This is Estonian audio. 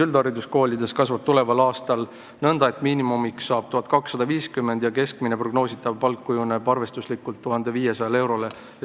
Üldhariduskoolides kasvab see tuleval aastal nõnda, et miinimumiks saab 1250 eurot ja keskmine prognoositav palk on arvestuslikult 1500 eurot.